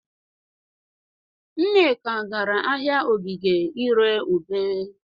Nneka gara ahịa Ogige ị ree ube.